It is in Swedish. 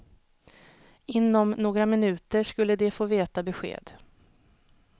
Inom några minuter skulle de få veta besked.